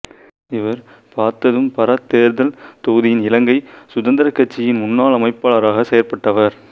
இவர் பாத்ததும்பற தேர்தல் தொகுதியின் இலங்கை சுதந்திரக் கட்சியின் முன்னாள் அமைப்பாளராகச் செயற்பட்டவர்